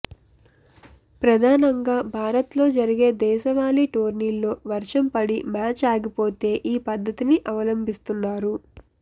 ప్రధానంగా భారత్లో జరిగే దేశవాళీ టోర్నీలో వర్షం పడి మ్యాచ్ ఆగిపోతే ఈ పద్ధతిని అవలంభిస్తున్నారు